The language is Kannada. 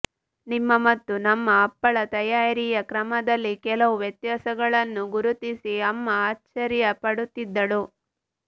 ನಿಮ್ಮ ಮತ್ತು ನಮ್ಮ ಹಪ್ಪಳತಯಾರಿಯ ಕ್ರಮದಲ್ಲಿ ಕೆಲವು ವ್ಯತ್ಯಾಸಗಳನ್ನು ಗುರುತಿಸಿ ಅಮ್ಮ ಆಶ್ಚರ್ಯಪಡುತ್ತಿದ್ದಳು